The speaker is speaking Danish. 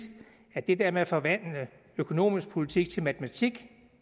at det der med at forvandle økonomisk politik til matematik